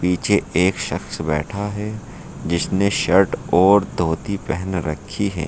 पीछे एक शख्स बैठा है जिसने शर्ट और धोती पहन रखी है।